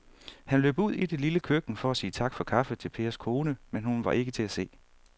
Han løb ud i det lille køkken for at sige tak for kaffe til Pers kone, men hun var ikke til at se.